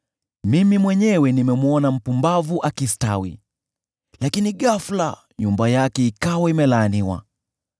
Mimi mwenyewe nimemwona mpumbavu akistawi, lakini ghafula nyumba yake ikawa imelaaniwa.